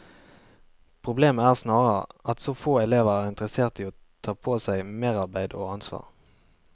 Problemet er snarere at så få elever er interessert i å ta på seg merarbeid og ansvar.